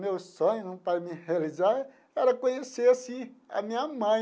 Meu sonho para mim realizar era conhecer assim a minha mãe.